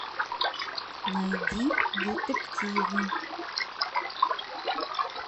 найди детективы